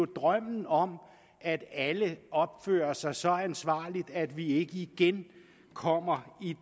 en drøm om at alle opfører sig så ansvarligt at vi ikke igen kommer i